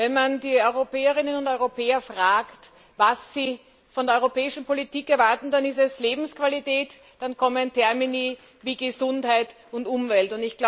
Wenn man die Europäerinnen und Europäer fragt, was sie von der europäischen Politik erwarten, dann ist es Lebensqualität, dann kommen Termini wie Gesundheit und Umwelt.